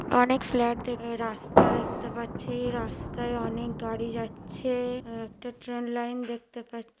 অনেক ফ্লাট দেখ রাস্তা দেখতে পাচ্ছি রাস্তায় অনেক গাড়ি যাচ্ছে একটা ট্রেন লাইন দেখতে পা--